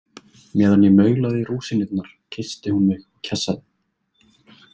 Meðan ég maulaði rúsínurnar kyssti hún mig og kjassaði.